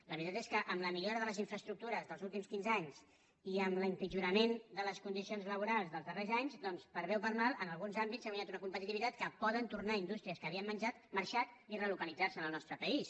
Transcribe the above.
la veritat és que amb la millora de les infraestructures dels últims quinze anys i amb l’empitjorament de les condicions laborals dels darrers anys doncs per bé o per mal en alguns àmbits s’ha guanyat una competitivitat amb què poden tornar indústries que havien marxat i relocalitzar se en el nostre país